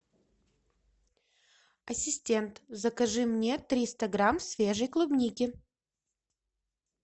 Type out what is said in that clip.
ассистент закажи мне триста грамм свежей клубники